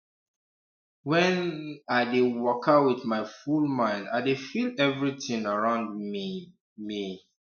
when um i dey waka with my full mind i dey feel everitin around me me